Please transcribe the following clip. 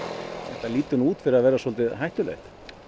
þetta lítur út fyrir að vera svolítið hættulegt